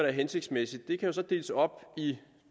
er hensigtsmæssigt kan jo så deles op i